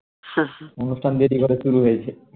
অনুষ্ঠান দেরি করে শুরু হয়েছে